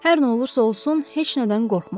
Hər nə olursa olsun, heç nədən qorxma.